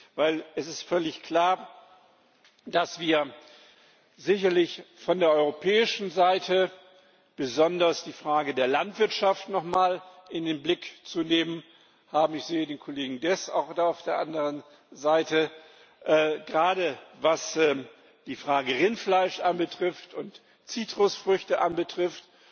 Denn es ist völlig klar, dass wir sicherlich von der europäischen Seite besonders die Frage der Landwirtschaft nochmals in den Blick zu nehmen haben ich sehe auch den Kollegen Dess auf der anderen Seite gerade was die Frage Rindfleisch und Zitrusfrüchte betrifft.